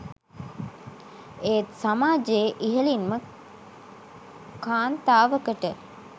ඒත් සමාජයේ ඉහළින්ම කාන්තාවකට